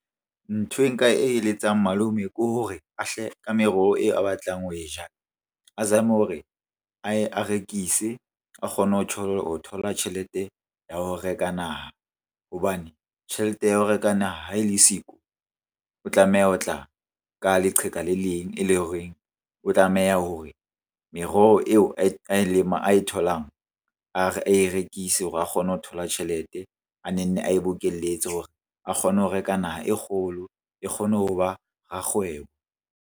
Nthwe nka e eletsang malome ke hore ka meroho eo a batlang ho e ja. A zame hore a rekise a kgone ho thola tjhelete ya ho reka naha. Hobane tjhelete ya ho reka naha ha e le siko o tlameha ho tla ka leqheka le leng e leng horeng o tlameha hore meroho eo ae tholang ae rekise hore a kgone ho thola tjhelete. A ne nne ae bokeletse hore a kgone ho reka naha e kgolo, e kgone ho ba rakgwebo.